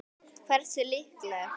Hversu líklegt?